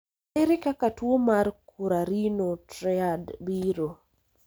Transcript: Ere kaka tuo mar Currarino triad biro?